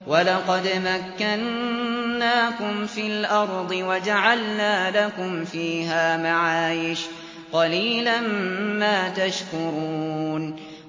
وَلَقَدْ مَكَّنَّاكُمْ فِي الْأَرْضِ وَجَعَلْنَا لَكُمْ فِيهَا مَعَايِشَ ۗ قَلِيلًا مَّا تَشْكُرُونَ